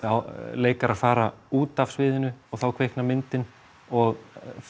leikarar fara út af sviðinu og þá kviknar myndin og